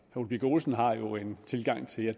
ole birk olesen har jo en tilgang til det